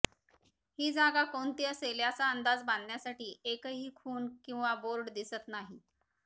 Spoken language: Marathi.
ही जागा कोणती असेल याचा अंदाज बांधण्यासाठी एकही खून किंवा बोर्ड दिसत नाही